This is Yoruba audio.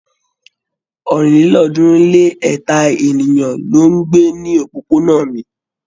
ọ̀rìnlélọ́ọ̀ọ́dúnrún-lé-ẹ̀ta ènìyàn ló ń gbé ní òpópónà mi.